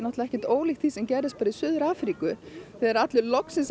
ekkert ólíkt því sem gerðist í Suður Afríku þegar loksins